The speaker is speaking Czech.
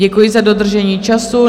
Děkuji za dodržení času.